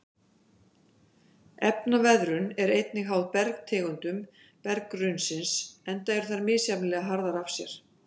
Efnaveðrun er einnig háð bergtegundum berggrunnsins enda eru þær misjafnlega harðar af sér.